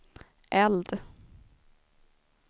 eld